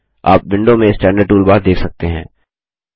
आप विंडो में standard toolbar देख सकते हैं